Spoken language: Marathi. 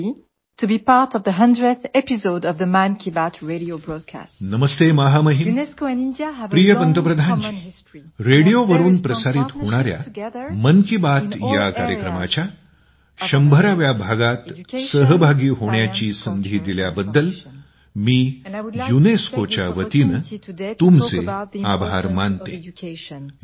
युनेस्को महासंचालक नमस्ते महामहिम प्रिय पंतप्रधानजी रेडिओवरून प्रसारित होणाऱ्या मन की बात या कार्यक्रमाच्या 100 व्या भागात सहभागी होण्याची संधी दिल्याबद्दल मी युनेस्को च्या वतीने तुमचे आभार मानतो